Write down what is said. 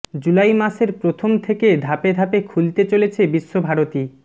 জুলাই মাসের প্রথম থেকে ধাপে ধাপে খুলতে চলছে বিশ্বভারতী